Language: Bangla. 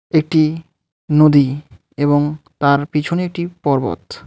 এটি নদী এবং তার পিছনে একটি পর্বত।